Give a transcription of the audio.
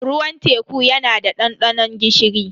Ruwan teku yana da dandanon gishiri.